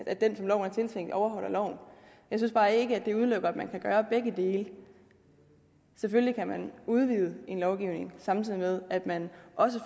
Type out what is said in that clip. at den som loven er tiltænkt overholder loven jeg synes bare ikke at det udelukker at man kan gøre begge dele selvfølgelig kan man udvide en lovgivning samtidig med at man